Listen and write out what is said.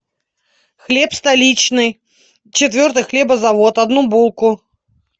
хлеб столичный четвертый хлебозавод одну булку